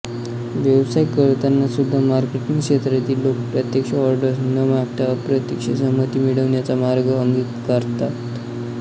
व्यवसाय करताना सुद्धा मार्केटिंग क्षेत्रातील लोक प्रत्यक्ष ऑर्डर्स न मागता अप्रत्यक्ष संमती मिळवण्याचा मार्ग अंगीकारतात